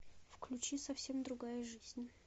включи совсем другая жизнь